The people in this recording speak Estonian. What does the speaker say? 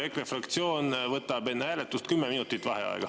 EKRE fraktsioon võtab enne hääletust kümme minutit vaheaega.